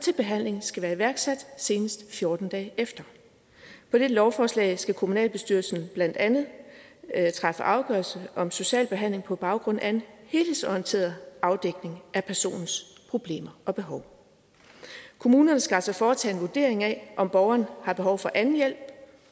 til behandling skal være iværksat senest fjorten dage efter på dette lovforslag skal kommunalbestyrelsen blandt andet træffe afgørelse om social behandling på baggrund af en helhedsorienteret afdækning af personens problemer og behov kommunerne skal altså foretage en vurdering af om borgeren har behov for anden hjælp